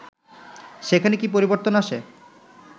সেখানে কি পরিবর্তন আসে